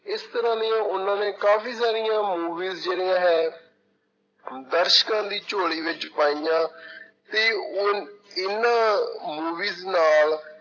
ਇਸ ਤਰ੍ਹਾਂ ਦੀਆਂ ਉਹਨਾਂ ਨੇ ਕਾਫ਼ੀ ਸਾਰੀਆਂ movies ਜਿਹੜੀਆਂ ਹੈ ਦਰਸ਼ਕਾਂ ਦੀ ਝੋਲੀ ਵਿੱਚ ਪਾਈਆਂ ਤੇ ਉਹ ਇਹਨਾਂ movies ਨਾਲ